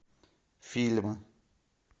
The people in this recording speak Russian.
фильм